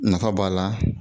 Nafa b'a la